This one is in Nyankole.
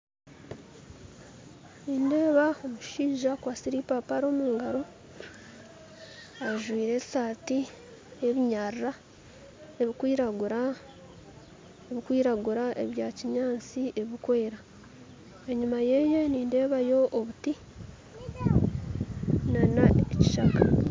Nindeeba omushaija akwatsire ipapari omungaro ajwaire esati yebinyarra ebikwiragura ebikwiragura ebyakinyantsi ebikwera enyuma yeye nindebayo obuti n'ekishaka.